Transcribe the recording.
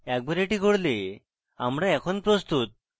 একবার এটি করলে আমরা এখন প্রস্তুত